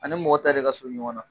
Ani mɔgɔ ta de ka surun ɲɔgɔn na.